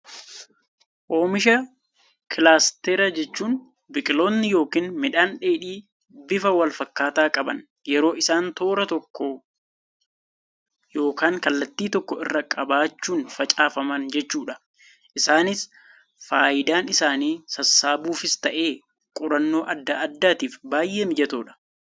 Oomisha kilaasteraa jechuun biqilootni yookiin midhaan dheedhii bifa wal fakkaataa qaban yeroo isaan toora tokko yookaan kallattii tokko irra qabachuun facaafaman jechuudha. Isaanis fayidaan isaanii sassaabuufis ta'ee, qorannoo addaa addaatiif baayyee mijatoodha.